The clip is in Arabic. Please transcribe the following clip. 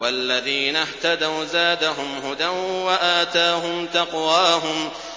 وَالَّذِينَ اهْتَدَوْا زَادَهُمْ هُدًى وَآتَاهُمْ تَقْوَاهُمْ